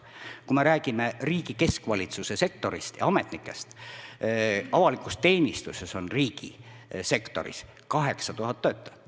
Kui me räägime riigi keskvalitsuse sektorist ja ametnikest, siis avalikus teenistuses on riigisektoris 8000 töötajat.